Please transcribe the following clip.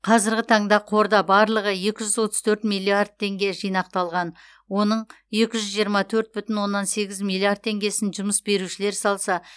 қазіргі таңда қорда барлығы екі жүз отыз төрт миллиард теңге жинақталған оның екі жүз жиырма төрт бүтін оннан сегіз миллиард теңгесін жұмыс берушілер салса